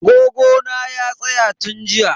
Agogo na ya tsaya tun jiya.